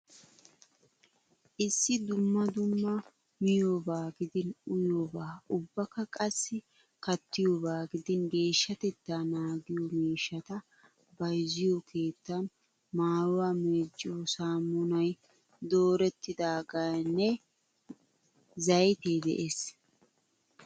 Issi dumma dumma miyoobaa gidin uyiyoobaa ubbakka qassi kattiyoobaa gidin geshshatettaa naagiyo mishshata bayizziyoo keettan maayyuwaa meecciyoo saamunayi doorettidaageenne zayitee des.